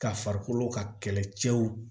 Ka farikolo ka kɛlɛcɛw